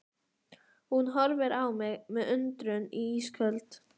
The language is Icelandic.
Hún horfir á mig með undrun í ísköld